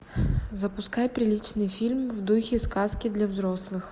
запускай приличный фильм в духе сказки для взрослых